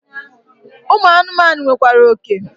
Ụmụ anụmanụ nwekwara oke.